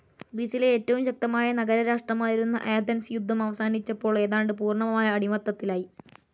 ഗ്രീസിലെ ഏറ്റവും ശക്തമായ നഗരരാഷ്ട്രമായിരുന്ന ആഥൻസ് യുദ്ധം അവസാനിച്ചപ്പോൾ, ഏതാണ്ട് പൂർണ്ണമായ അടിമത്തത്തിലായി.